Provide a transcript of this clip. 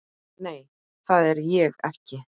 Nei, það er ég ekki.